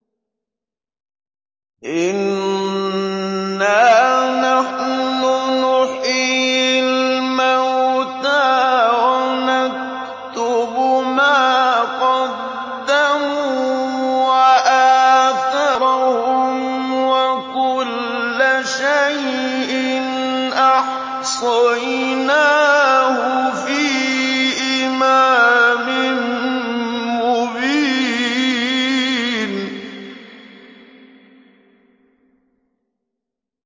إِنَّا نَحْنُ نُحْيِي الْمَوْتَىٰ وَنَكْتُبُ مَا قَدَّمُوا وَآثَارَهُمْ ۚ وَكُلَّ شَيْءٍ أَحْصَيْنَاهُ فِي إِمَامٍ مُّبِينٍ